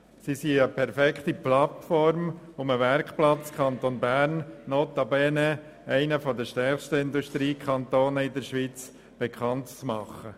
Sie sind eine perfekte Plattform, um den Werkplatz des Kantons Bern, notabene eines der stärksten Industriekantone in der Schweiz, bekannt zu machen.